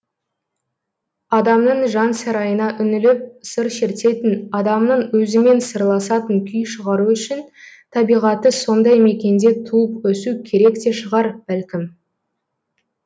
адамның жан сарайына үңіліп сыр шертетін адамның өзімен сырласатын күй шығару үшін табиғаты сондай мекенде туып өсу керек те шығар бәлкім